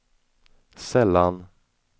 sällan